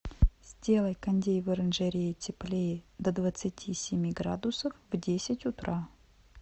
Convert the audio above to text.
сделай кондей в оранжерее теплее до двадцати семи градусов в десять утра